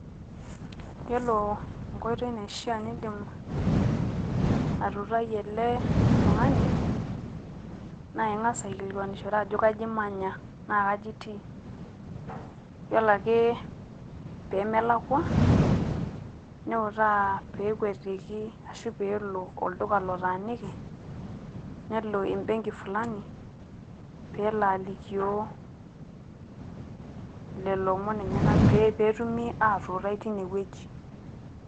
iyiole enkoitoi naishaa nidim atuutai ele tung'ani naa ing'as aikilikuan ajo kaji imanya naa kaji itii. iyiolo ake pee melakua niutaa, peekwetiki olduka lotaaniki, nelo ebenki fulani, pee elo alikioo lelo omon lenyenak, pee etumi atuutai teine wueji.